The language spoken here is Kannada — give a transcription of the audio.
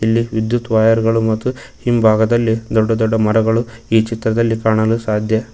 ಇಲ್ಲಿ ವಿದ್ಯುತ್ ವೈರ್ ಗಳು ಮತ್ತು ಹಿಂಭಾಗದಲ್ಲಿ ದೊಡ್ಡ ದೊಡ್ಡ ಮರಗಳು ಈ ಚಿತ್ರದಲ್ಲಿ ಕಾಣಲು ಸಾಧ್ಯ.